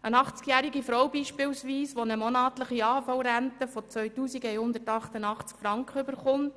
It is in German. Es trifft beispielsweise eine achtzigjährige Frau, die eine monatliche AHV-Rente von 2188 Franken erhält,